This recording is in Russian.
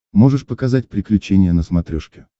можешь показать приключения на смотрешке